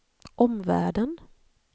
omvärlden